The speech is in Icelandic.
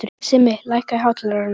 Simmi, lækkaðu í hátalaranum.